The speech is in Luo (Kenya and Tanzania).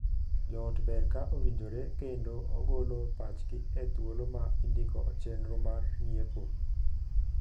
Joot ber ka owinjore kendo ogolo pachgi e thuolo ma indiko chenro mar ng'iepo.